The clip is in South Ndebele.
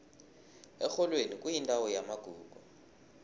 erholweni kuyindawo yamagugu